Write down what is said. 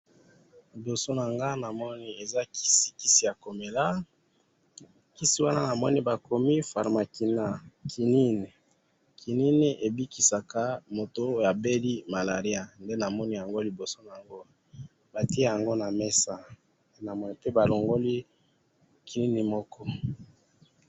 liboso na ngayi eza kisi, kisi ya komela kisi wana namoni bakomi pharmakina